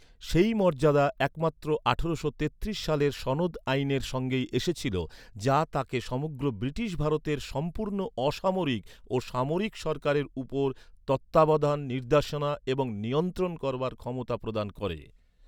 সেই মর্যাদা একমাত্র আঠারোশো তেত্রিশ সালের সনদ আইনের সঙ্গেই এসেছিল, যা তাঁকে সমগ্র ব্রিটিশ ভারতের "সম্পূর্ণ অসামরিক ও সামরিক সরকারের উপর তত্ত্বাবধান, নির্দেশনা এবং নিয়ন্ত্রণ" করবার ক্ষমতা প্রদান করে।